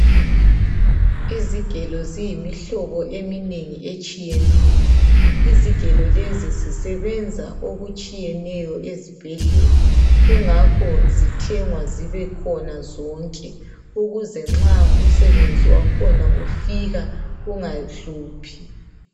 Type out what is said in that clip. Izigelo ziyimihlobo eminengi etshiyeneyo. Izigelo lezi zisebenza okutshiyeneyo ezibhedlela. Kungakho zithengwa zibekhona zonke, ukuze nxa umsebenzi wakhona ufika, kungahluphi.